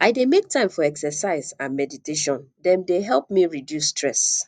i dey make time for exercise and mediatation dem dey help me reduce stress